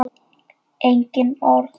Engin orð.